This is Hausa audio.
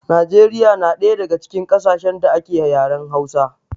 Najeriya na ɗaya daga cikin ƙasashen da ake yaren hausa